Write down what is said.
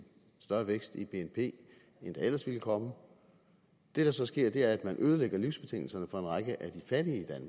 større vækst i bnp end der ellers ville komme det der så sker er at man ødelægger livsbetingelserne for en række af de fattige i